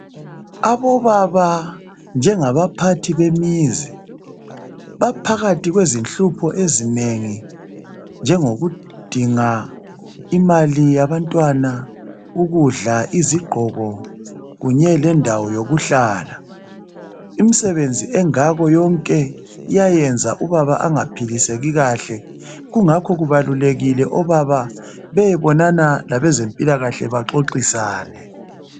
Abobaba njengabaphathi bemizi baphakathi kwezinhlupho ezinengi njengokudinga imali yabantwana ,ukudla , izigqoko kunye lendawo yokuhlala imisebenzi engako yonke iyayenza ubaba angaphiliseki kahle kungakho kubalulekile obaba beyebonana labezempilakahle baxoxisane